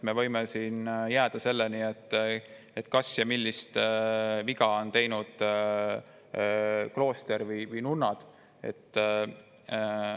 Me võime jääda selle, kas klooster või nunnad on teinud mingi vea.